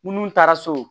Munnu taara so